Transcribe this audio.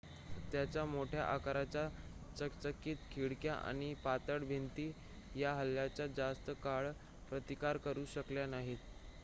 त्याच्या मोठ्या आकाराच्या चकचकीत खिडक्या आणि पातळ भिंती या हल्ल्याचा जास्त काळ प्रतिकार करू शकल्या नाहीत